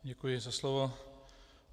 Děkuji za slovo.